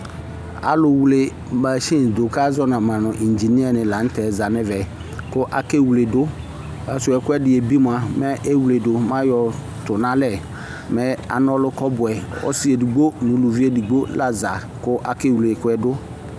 Alu ɣle mashine du la nu tɛ azɔma enginer kaza nu ɛvɛ akewledu kadu ɛkúdi ebimua mɛ ayɔ tunalɛ kɔbuɛ ɔsi edigbo nu uluviedigbo la za ku akewledu ɛkuɛdu